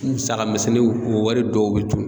Musaka misɛnninw o wari dɔw be dun